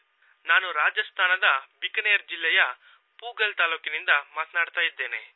ನಾನು ರಾಜಾಸ್ತಾನದ ಬಿಕಾನೆರ್ ಜಿಲ್ಲೆಯ ಪೂಗಲ್ ತಾಲೂಕಿನಿಂದ ಮಾತನಾಡುತ್ತಿದ್ದೇನೆ